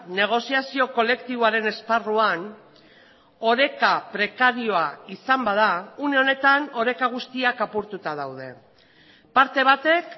negoziazio kolektiboaren esparruan oreka prekarioa izan bada une honetan oreka guztiak apurtuta daude parte batek